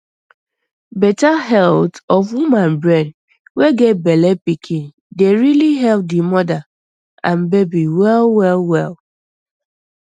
better health of woman brain wey get bellepikin dey rili help di moda and baby well well well